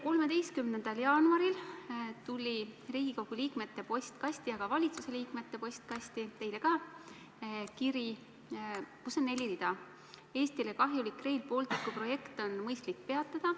13. jaanuaril tuli Riigikogu liikmete ja ka valitsuse liikmete postkasti, sh teile, kiri, milles on neli rida: "Eestile kahjulik Rail Balticu projekt on mõistlik peatada.